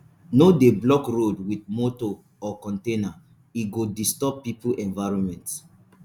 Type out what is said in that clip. no dey block road with motor or container e go disturb people movement.